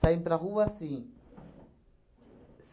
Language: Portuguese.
Saímos para rua assim.